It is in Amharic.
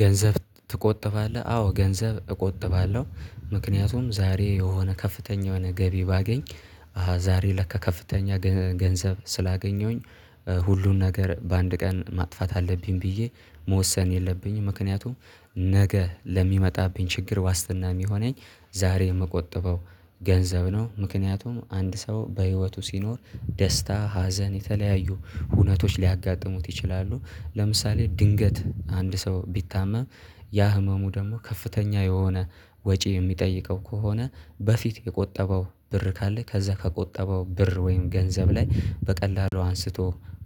ገንዘብ ትቆጥባለህ? አዎ ገንዘብ እቆጥባለሁ ምክንያቱም ዛሬ የሆነ ከፍተኛ የሆነ ገቢ ባገኝ ዛሬ ለካ ከፍተኛ ገንዘብ ስላገኘሁኝ ሁሉን ነገር በአንድ ቀን ማጥፋት አለብኝ ብዬ መወሰን የለብኝም ምክንያቱም ነገ ለሚመጣብኝ ችግር ዋስትና የሚሆነኝ ዛሬ የምቆጥበው ገንዘብ ነው። ምክንያቱም አንድ ሰው በህይወቱ ሲኖር ደስታ ሀዘን የተለያዩ ሁነቶች ሊያጋጥሙት ይችላሉ ለምሳሌ ድንገት አንድ ሰው ቢታመም ያ ህመሙ ደግሞ ከፍተኛ የሆነ ወጪ የሚጠይቀው ከሆነ በፊት የቆጠበው ብር ካለ ከዛ ከቆጠበው ብር ወይም ገንዘብ ላይ በቀላሉ አንስቶ